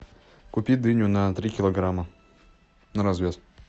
купи дыню на три килограмма на развес